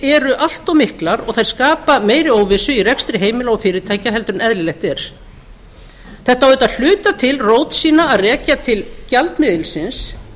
eru allt of miklar og þær skapa meiri óvissu í rekstri heimila og fyrirtækja heldur en eðlilegt er þetta á auðvitað að hluta til rót sína að rekja til gjaldmiðilsins